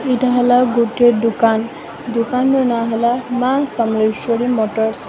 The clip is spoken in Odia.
ଇଟା ହେଲା ଗୁଟେ ଦୁକାନ ଦୁକାନର ନାଁ ହେଲା ମା ସମଲେଶ୍ଵରୀ ମୋଟରସ।